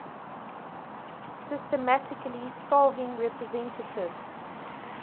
systematically solving representative